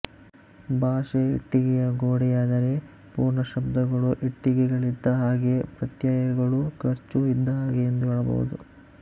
ಭಾಷೆ ಇಟ್ಟಿಗೆಯ ಗೋಡೆಯಾದರೆ ಪೂರ್ಣಶಬ್ದಗಳು ಇಟ್ಟಿಗೆಗಳಿದ್ದ ಹಾಗೆ ಪ್ರತ್ಯಯಗಳು ಗರ್ಚು ಇದ್ದಹಾಗೆಎಂದು ಹೇಳಬಹುದು